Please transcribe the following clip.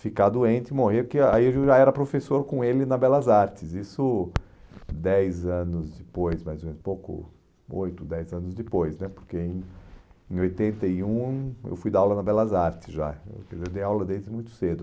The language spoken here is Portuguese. ficar doente e morrer, porque aí eu já era professor com ele na Belas Artes, isso dez anos depois, mais ou menos, pouco, oito, dez anos depois né, porque em em oitenta e um eu fui dar aula na Belas Artes já, quer dizer, eu dei aula desde muito cedo.